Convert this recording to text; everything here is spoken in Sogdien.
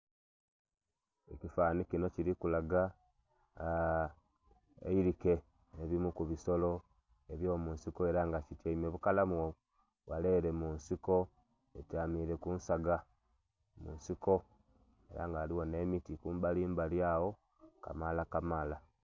Ekifananhi kinho kilikulaga aa.. ebilike ebimuli ku bisolo ebyo munsiko era nga lityaime bukalamu ghale ere munsiko lityaime kunsaga munsoko era nga ghaligho nhe miti kumbali mabali agho Kamala Kamala.